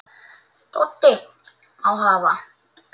Doddi: Má hafa